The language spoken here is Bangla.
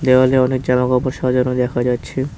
দেওয়ালে অনেক জামাকাপড় সাজানো দেখা যাচ্ছে।